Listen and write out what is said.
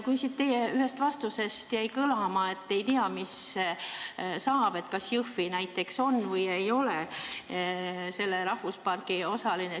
Ühest teie vastusest jäi kõlama, et ei tea, mis saab – kas Jõhvi näiteks on või ei ole selle rahvuspargi osaline.